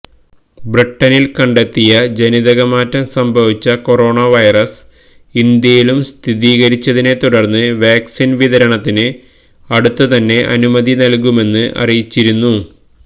ബ്രിട്ടണില് കണ്ടെത്തിയ ജനിതകമാറ്റം സംഭവിച്ച കൊറോണ വൈറസ് ഇന്ത്യയിലും സ്ഥീരികരിച്ചതിനെ തുടര്ന്ന് വാക്സിന് വിതരണത്തിന് അടുത്തുതന്നെ അനുമതി നല്കുമെന്ന് അറിയിച്ചിരുന്നു